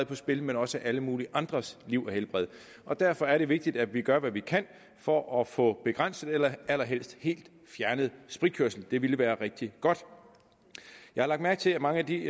på spil men også alle mulige andres liv og helbred derfor er det vigtigt at vi gør hvad vi kan for at få begrænset eller allerhelst helt fjernet spritkørsel det ville være rigtig godt jeg har lagt mærke til at mange af de